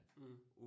Mh